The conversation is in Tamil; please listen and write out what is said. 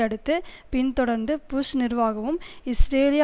அடுத்து பின்தொடர்ந்து புஷ் நிர்வாகமும் இஸ்ரேலிய